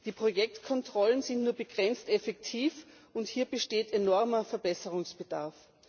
Die Projektkontrollen sind nur begrenzt effektiv, und hier besteht enormer Verbesserungsbedarf.